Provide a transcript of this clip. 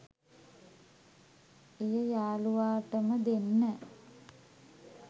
එය යාළුවාටම දෙන්න